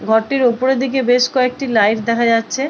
ঘরটির ওপরের দিকে বেশ কয়েকটি লাইট দেখা যাচ্ছে।